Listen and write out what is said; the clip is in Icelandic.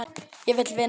Ég vil vinna.